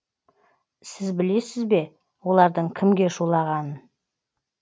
сіз білесіз бе олардың кімге шулағанын